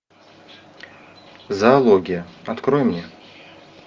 зоология открой мне